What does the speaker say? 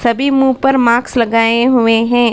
सभी मुंह पर मास्क लगाए हुए हैं।